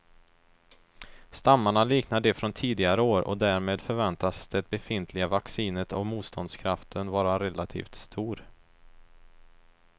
Stammarna liknar de från tidigare år och därmed förväntas det befintliga vaccinet och motståndskraften vara relativt stor.